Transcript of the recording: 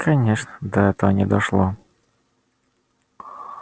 конечно до этого не дошло